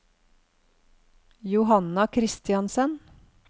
Johanna Christiansen